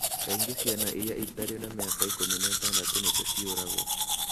Kaingĩ ciana iria itarĩ na mĩaka 16 nĩcio ciũragwo.